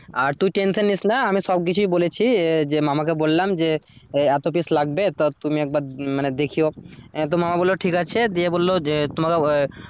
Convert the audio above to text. আর তুই টেনশন নিস না আমি সবকিছু বলেছি যে মামাকে বললাম যে এত piece লাগবে তো তুমি একবার মানে দেখিও তো মামা বলল ঠিক আছে দিয়ে বলল যে তোমার আহ